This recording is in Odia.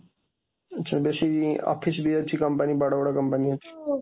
ଆଛା ବେଶୀ ଅଫିସ୍ ବି ଅଛି, କମ୍ପାନୀ ବଡ଼ ବଡ଼ କମ୍ପାନୀ ଅଛି